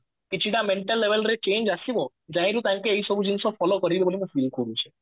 କିଛି ଟା mental label ରେ change ଆସିବ ତାକୁ ଏଇସବୁ ଜିନିଷ follow କରିବା